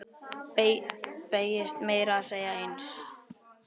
Beygist meira að segja eins!